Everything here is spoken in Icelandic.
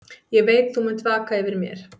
Ég veit þú munt vaka yfir mér.